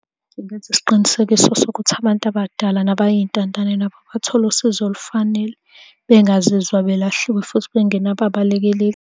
Ngenze isiqinisekiso sokuthi abantu abadala nabayintandane nabo bathole usizo olufanele, bengazizwa belahliwe futhi bengenabo abalekeleli.